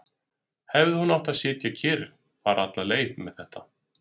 Hefði hún átt að sitja kyrr, fara alla leið með þetta?